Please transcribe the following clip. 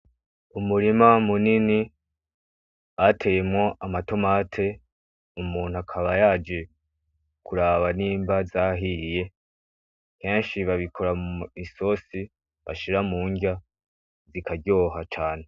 Umurima munini bateyemwo amatomate umuntu akaba yaje kuraba nimba zahiye, benshi babikoramwo isose bashira mu ndya bikaryoha cane.